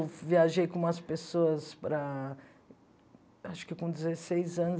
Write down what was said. Eu viajei com umas pessoas para... Acho que com dezesseis anos.